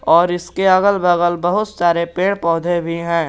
और इसके अगल बगल बहुत सारे पेड़ पौधे भी हैं।